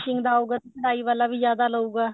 finishing ਦਾ ਹੋਊਗਾ ਤਾਂ ਕਢਾਈ ਵਾਲਾ ਵੀ ਜਿਆਦਾ ਲਉਗਾ